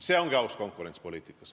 See ongi aus konkurents poliitikas.